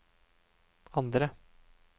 andre